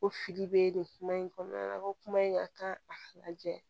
Ko fili bɛ nin kuma in kɔnɔna la ko kuma in a kan a lajɛ